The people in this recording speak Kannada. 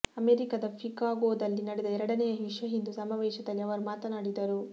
ಅಮೆರಿಕದ ಷಿಕಾಗೋದಲ್ಲಿ ನಡೆದ ಎರಡನೆಯ ವಿಶ್ವ ಹಿಂದೂ ಸಮಾವೇಶದಲ್ಲಿ ಅವರು ಮಾತನಾಡಿದರು